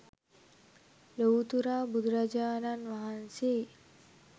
ලොව්තුරා බුදුරජාණන් වහන්සේ